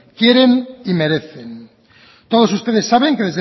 quieren y merecen todos ustedes saben que